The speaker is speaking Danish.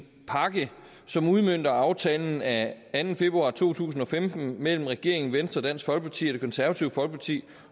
pakke som udmønter aftalen af anden februar to tusind og femten mellem regeringen venstre dansk folkeparti og det konservative folkeparti